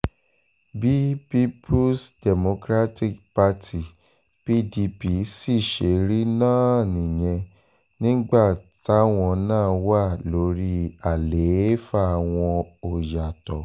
bí peoples democratic party pdp sì ṣe rí náà nìyẹn nígbà táwọn náà wà lórí àlééfà wọn ò yàtọ̀